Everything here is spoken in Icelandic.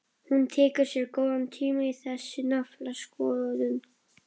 Hún tekur sér góðan tíma í þessa naflaskoðun.